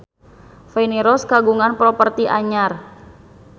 Feni Rose kagungan properti anyar